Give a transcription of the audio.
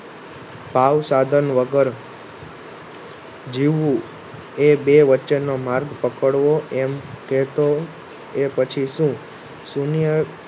ભાવ સાધન વગર જીવવું એ બે વચ્ચે નો માર્ગ ફેરવો એમ કે તો એ પછી શુ શૂન્ય